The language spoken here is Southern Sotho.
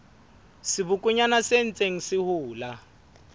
sebokonyana se ntseng se hola